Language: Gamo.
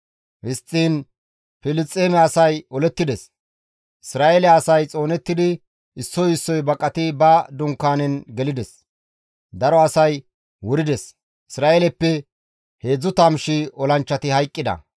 Histtiin Filisxeeme asay olettides; Isra7eele asay xoonettidi issoy issoy baqati ba dunkaanen gelides; daro asay wurides; Isra7eeleppe 30,000 olanchchati hayqqida.